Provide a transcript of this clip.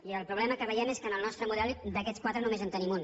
i el problema que veiem és que en el nostre model d’aquests quatre només en tenim un